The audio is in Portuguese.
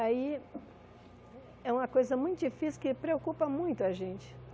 Aí, é uma coisa muito difícil que preocupa muito a gente.